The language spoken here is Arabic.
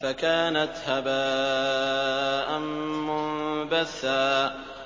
فَكَانَتْ هَبَاءً مُّنبَثًّا